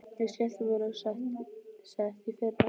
Ég skellti mér á sett í fyrra.